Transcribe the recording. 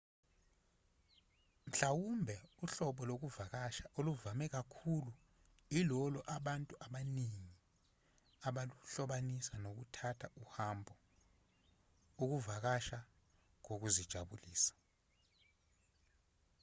mhlawumbe uhlobo lokuvakasha oluvame kakhulu ilolo abantu abaningi abaluhlobanisa nokuthatha uhambo ukuvakasha kokuzijabulisa